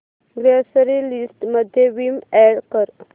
grocery list मध्ये Vim add कर